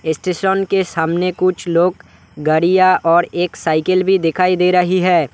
Station के सामने कुछ लोग गाड़ियां और एक साइकिल भी दिखाई दे रही है।